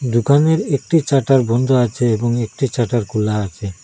দুকানের একটি ছাটার বন্দ আছে এবং ছাটার খোলা আচে।